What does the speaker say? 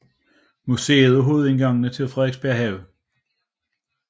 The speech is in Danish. Museet og hovedindgangen til Frederiksberg Have